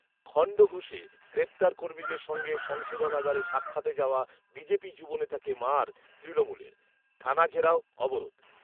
খন্ডঘোষে গ্রেফতার কর্মীদের সঙ্গে সংশোধনাগারে সাক্ষাতে যাওয়া বিজেপি যুবনেতাকে ‘মার’ তৃণমূলের, থানা ঘেরাও, অবরোধ